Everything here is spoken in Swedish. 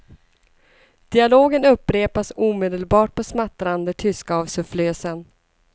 Dialogen upprepas omedelbart på smattrande tyska av sufflösen.